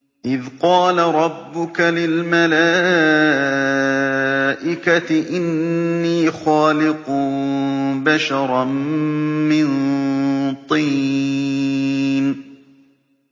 إِذْ قَالَ رَبُّكَ لِلْمَلَائِكَةِ إِنِّي خَالِقٌ بَشَرًا مِّن طِينٍ